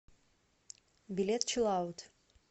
билет чилл аут